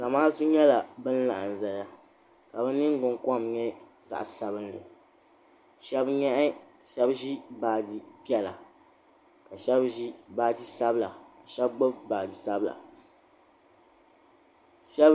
Zamaatu nyɛla ban laɣim n zaya ka bɛ ningbin kom nyɛ zaɣa sabinli sheba ʒi baaji piɛla ka sheba ʒi baaji sabla ka sheba gbibi baaji sabla.